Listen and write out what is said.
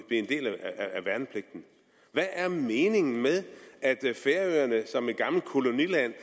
en del af værnepligten hvad er meningen med at færøerne som et gammelt koloniland